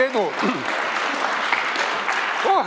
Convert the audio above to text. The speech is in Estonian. Aitäh!